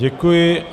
Děkuji.